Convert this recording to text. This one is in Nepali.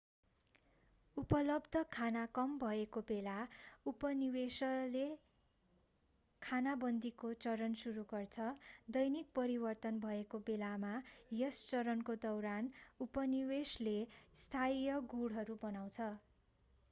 उपलब्ध खाना कम भएको बेला उपनिवेशले खानाबन्दीको चरण सुरु गर्छ दैनिक परिवर्तन भएको बेला यस चरणको दौरान उपनिवेशले अस्थायी गुँडहरू बनाउँछ